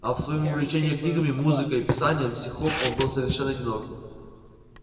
а в своём увлечении книгами музыкой и писанием стихов он был совершенно одинок